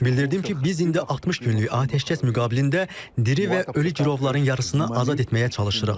Bildirdim ki, biz indi 60 günlük atəşkəs müqabilində diri və ölü girovların yarısını azad etməyə çalışırıq.